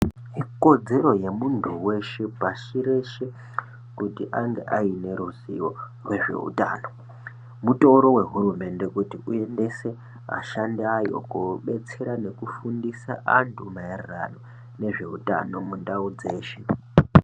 Ikodzero yemuntu veshe pashireshe kuti ange aine ruzivo vezveutano. Mutoro vehurumende kuti uendese ashandi ayo kobetsera nekufundisa antu maererano nezvehutano mundau dzeshe.